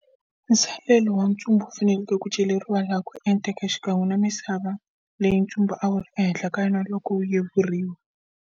Masalelo va ntsumbu ya fanele ku celeriwa laha ku enteke, xikan'we na misava leyi ntsumbu a wu ri ehenhla ka yona loko wu yevuriwa.